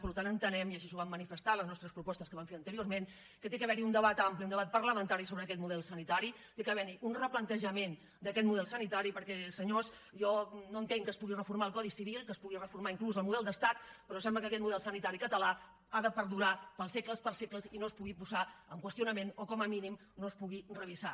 per tant entenem i així ho vam manifestar a les nostres propostes que vam fer anteriorment que ha d’haver hi un debat ampli un debat parlamentari sobre aquest model sanitari ha d’haver hi un replantejament d’aquest model sanitari perquè senyors jo no entenc que es pugui reformar el codi civil que es pugui reformar inclús el model d’estat però sembla que aquest model sanitari català ha de perdurar pels segles dels segles i no es pugui posar en qüestionament o com a mínim no es pugui revisar